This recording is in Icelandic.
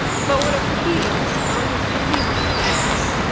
Fáir áttu bíla á þessum árum og því var lítil umferð.